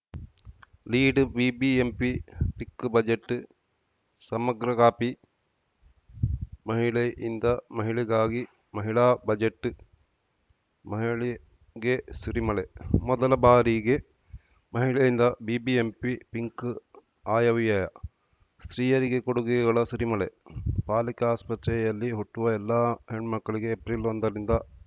ಲೀಡ್‌ಬಿಬಿಎಂಪಿ ಪಿಕ್‌ ಬಜೆಟ್‌ ಸಮಗ್ರ ಕಾಪಿ ಮಹಿಳೆಯಿಂದ ಮಹಿಳೆಗಾಗಿ ಮಹಿಳಾ ಬಜೆಟ್‌ ಮಹಿಳೆಗೆ ಸುರಿಮಳೆ ಮೊದಲ ಬಾರಿಗೆ ಮಹಿಳೆಯಿಂದ ಬಿಬಿಎಂಪಿ ಪಿಂಕ್‌ ಆಯವ್ಯಯ ಸ್ತ್ರೀಯರಿಗೆ ಕೊಡುಗೆಗಳ ಸುರಿಮಳೆ ಪಾಲಿಕೆ ಆಸ್ಪತ್ರೆಯಲ್ಲಿ ಹುಟ್ಟುವ ಎಲ್ಲ ಹೆಣ್ಮಕ್ಕಳಿಗೆ ಏಪ್ರಿಲ್ ಒಂದರಿಂದ